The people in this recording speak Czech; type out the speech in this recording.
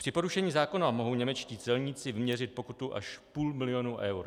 Při porušení zákona mohou němečtí celníci vyměřit pokutu až půl milionu eur.